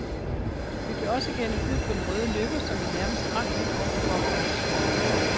Vi blev også gennet ud på den røde løber, som vi nærmest sprang hen over, for at komme i skygge.